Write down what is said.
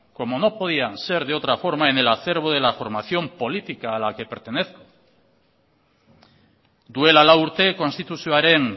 como no podía ser de otra forma en el acervo de la formación política a la que pertenezco duela lau urte konstituzioaren